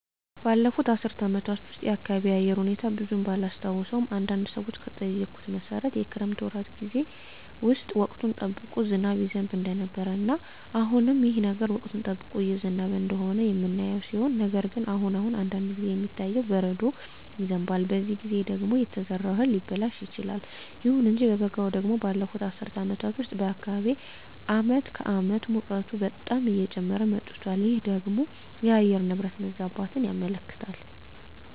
ባለፉት አስር አመታት ውስጥ የአካባቢየ የአየር ሁኔታ ብዙም ባላስታውሰውም አንዳንድ ሰዎችን በጠየኩት መሠረት የክረምት ወራት ጌዜ ውስጥ ወቅቱን ጠብቆ ዝናብ ይዘንብ እንደነበረ እና አሁንም ይህ ነገር ወቅቱን ጠብቆ እየዘነበ እንደሆነ የምናየው ሲሆን ነገር ግን አሁን አሁን አንዳንድ ጊዜ የሚታየው በረዶ ይዘንባል በዚህ ጊዜ ደግሞ የተዘራው እህል ሊበላሽ ይችላል። ይሁን እንጂ በበጋው ደግሞ ባለፋት አስር አመታት ውስጥ በአካባቢየ አመት ከአመት ሙቀቱ በጣም እየጨመረ መጧል ይህ ደግሞ የአየር ንብረት መዛባትን ያመለክታል